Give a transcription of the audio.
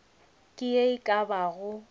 ke ye e ka bago